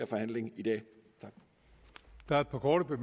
forhandlingen i dag tak